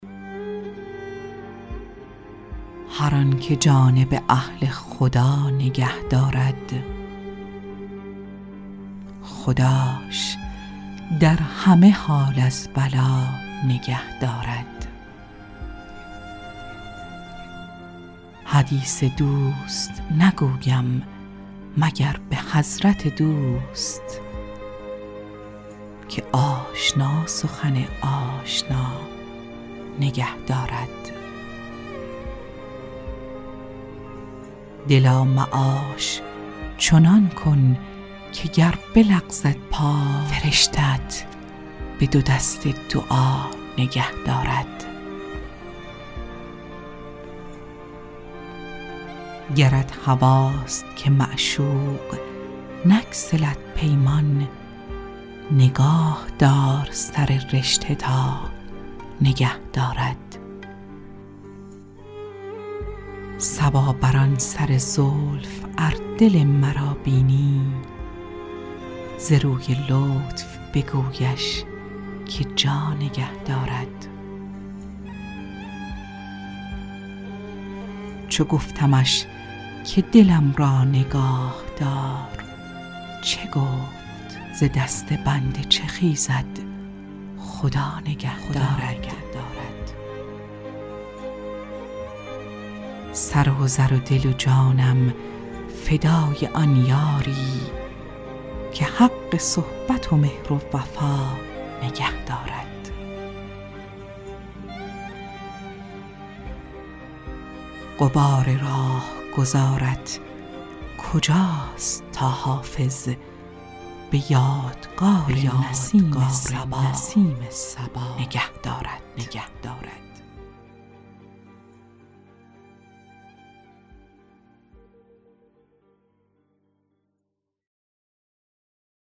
هر آن که جانب اهل خدا نگه دارد خداش در همه حال از بلا نگه دارد حدیث دوست نگویم مگر به حضرت دوست که آشنا سخن آشنا نگه دارد دلا معاش چنان کن که گر بلغزد پای فرشته ات به دو دست دعا نگه دارد گرت هواست که معشوق نگسلد پیمان نگاه دار سر رشته تا نگه دارد صبا بر آن سر زلف ار دل مرا بینی ز روی لطف بگویش که جا نگه دارد چو گفتمش که دلم را نگاه دار چه گفت ز دست بنده چه خیزد خدا نگه دارد سر و زر و دل و جانم فدای آن یاری که حق صحبت مهر و وفا نگه دارد غبار راهگذارت کجاست تا حافظ به یادگار نسیم صبا نگه دارد